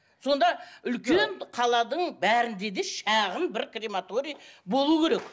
сонда үлкен қаланың бәрінде де шағын бір крематорий болу керек